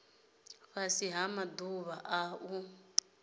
fhasi ha maḓuvha a u